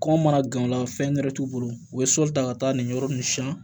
Kɔngɔ mana gan o la fɛn wɛrɛ t'u bolo u bɛ sɔli ta ka taa nin yɔrɔ ninnu siɲɛ